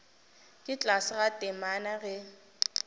ka tlase ga temana ge